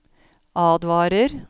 advarer